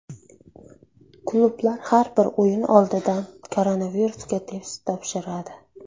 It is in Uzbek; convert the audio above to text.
Klublar har bir o‘yin oldidan koronavirusga test topshiradi.